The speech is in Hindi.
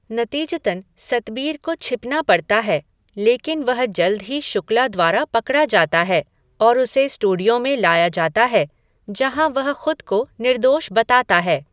नतीजतन, सतबीर को छिपना पड़ता है, लेकिन वह जल्द ही शुक्ला द्वारा पकड़ा जाता है और उसे स्टूडियो में लाया जाता है, जहाँ वह ख़ुद को निर्दोष बताता है।